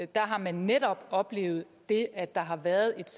der har man netop oplevet det at der har været et